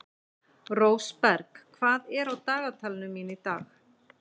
Rósberg, hvað er á dagatalinu mínu í dag?